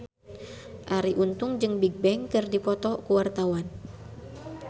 Arie Untung jeung Bigbang keur dipoto ku wartawan